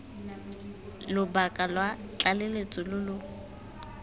lobaka lwa tlaleletso lo lo